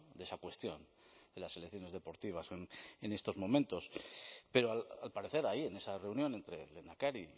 de esa cuestión de las selecciones deportivas en estos momentos pero al parecer ahí en esa reunión entre lehendakari y